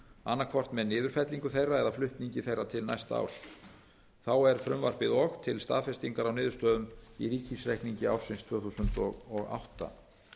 annaðhvort með niðurfellingu þeirra eða flutningi til næsta árs þá er frumvarpið og til staðfestingar á niðurstöðum í ríkisreikningi ársins tvö þúsund og átta